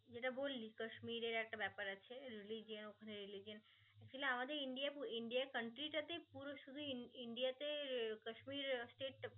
যেটা বললি কাশ্মীরের একটা ব্যপার আছে religion ওখানে religion আসলে আমাদের ইন্ডিয়া ব~ ইন্ডিয়া country টা তে পুরো শুধু ইন~